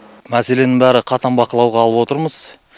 мәселенің барлығы қатаң бақылауға алып отырмыз